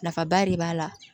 Nafaba de b'a la